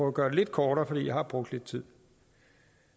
at gøre det lidt kortere for jeg har brugt lidt tid